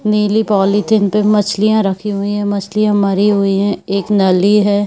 नीली पॉलीथिन पे मछलियाँ रखी हुई है मछलियाँ मरी हुई है एक नली है।